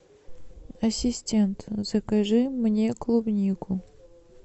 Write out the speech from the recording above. ассистент закажи мне клубнику